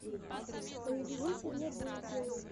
привезите мне бургеры